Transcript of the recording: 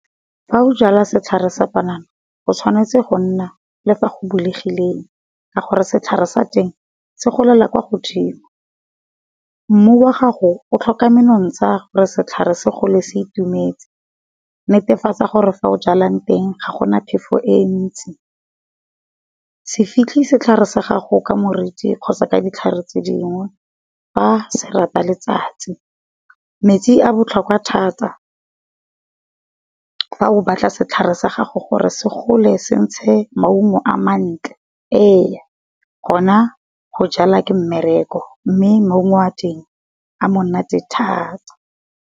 Fa o jala setlhare sa panana go tshwanetse go nna le fa go bulegileng, ka gore setlhare sa teng se golela kwa godimo. Mmu wa gago o tlhoka menontsha gore setlhare se gole se itumetse, netefatsa gore fa o jalang teng ga gona phefo e ntsi. Se fitlhe setlhare sa gago ka moriti kgotsa ka ditlhare tse dingwe, fa se rata letsatsi. Metsi a botlhokwa thata, fa o batla setlhare sa gago gore se gole se ntshe maungo a mantle ee go na go jala ke mmereko mme maungo a teng a monate thata.